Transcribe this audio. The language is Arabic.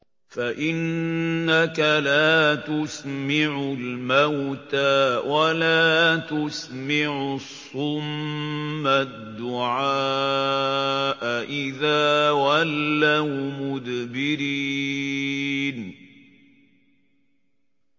فَإِنَّكَ لَا تُسْمِعُ الْمَوْتَىٰ وَلَا تُسْمِعُ الصُّمَّ الدُّعَاءَ إِذَا وَلَّوْا مُدْبِرِينَ